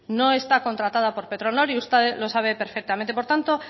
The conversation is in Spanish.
no está contratada por petronor y usted lo sabe perfectamente por tanto